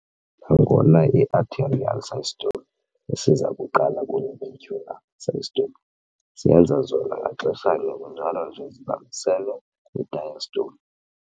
Nangona i-"atrial systole" isiza kuqala kune-"ventricular systole", ziyenza zona ngaxeshanye kunjalo nje zibambisene i-diastole.